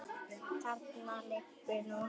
Þarna liggur nú